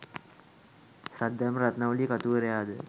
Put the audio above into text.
Saddharma Ratnavali කතුවරයාද